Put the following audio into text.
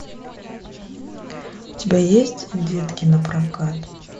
у тебя есть детки на прокат